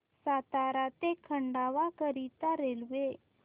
सातारा ते खंडवा करीता रेल्वे